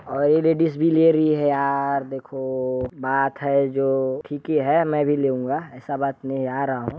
और ये लेडिस भी ले रही है यार देखो बात है जो ठीक ही है मैं भी लूंगा ऐसा बात नहीं आ रहा हूँ।